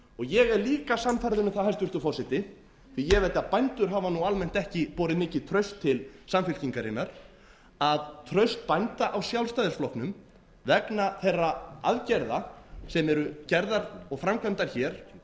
ég er líka sannfærður um það hæstvirtur forseti því að ég veit að bændur hafa nú almennt ekki borið mikið traust til samfylkingarinnar að traust bænda á sjálfstæðisflokknum vegna þeirra aðgerða sem eru gerðar og framkvæmdar hér og eru í raun